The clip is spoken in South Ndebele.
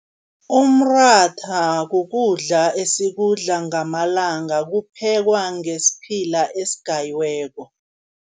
Umratha kukudla esikudla ngamalanga, kuphekwa ngesiphila esigayiweko.